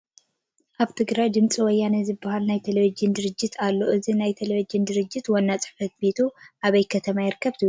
ኣብ ትግራይ ድምፂ ወያነ ዝበሃል ናይ ቴለቪዥን ድርጅት ኣሎ፡፡ እዚ ናይ ቴለቪዥን ድርጅት ዋና ፅሕፈት ቤቱ ኣበይ ከተማ ይርከብ ትብሉ?